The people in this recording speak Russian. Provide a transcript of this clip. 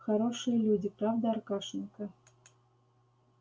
хорошие люди правда аркашенька